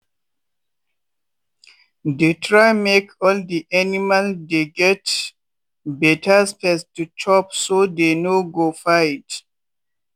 dey try make all de animal dey get beta space to chop—so dey no go fight.